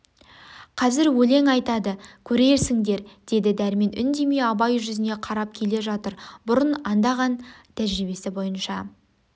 қазір өлең айтады көрерсіңдер деді дәрмен үндемей абай жүзіне қарап келе жатыр бұрын анда-ған тәжірибесі бойынша